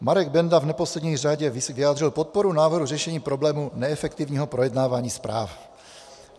Marek Benda, v neposlední řadě, vyjádřil podporu návrhu řešení problému neefektivního projednávání zpráv.